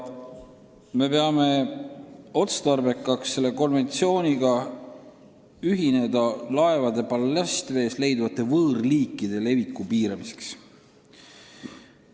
Me peame otstarbekaks selle konventsiooniga ühineda laevade ballastvees leiduvate võõrliikide leviku piiramiseks.